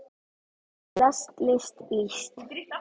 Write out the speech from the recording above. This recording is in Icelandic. lest list líst